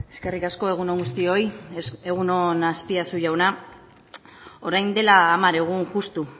eskerrik asko egun on guztioi egun on azpiazu jauna orain dela hamar egun justu